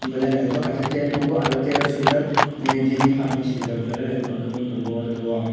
belai nythotok ke kaisa chair nugo ajaga chair o chair o swijak jeni far ni swijak belai nythotok ke ungui tongo aw jaaga.